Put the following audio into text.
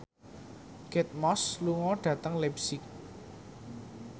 Kate Moss lunga dhateng leipzig